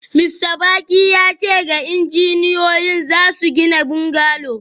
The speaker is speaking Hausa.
Mista Baki ya ce da injiniyoyin za su gina bungalow